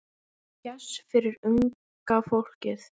Gess fyrir unga fólkið.